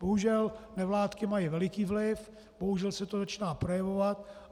Bohužel nevládky mají veliký vliv, bohužel se to začíná projevovat.